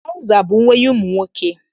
Traụza bụ uwe ụmụ nwoke.